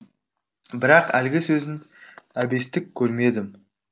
бірақ әлгі сөзін әбестік көрмедім